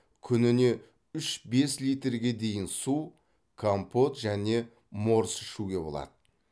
күніне үш бес литрге дейін су компот және морс ішуге болады